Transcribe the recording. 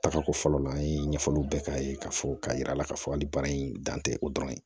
Taga ko fɔlɔ la an ye ɲɛfɔliw bɛɛ k'a ye k'a fɔ k'a yira a la k'a fɔ hali baara in dan tɛ o dɔrɔn ye